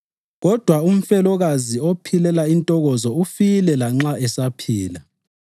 Kodwa umfelokazi ophilela intokozo ufile lanxa esaphila.